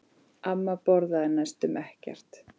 Amma borðaði næstum ekkert.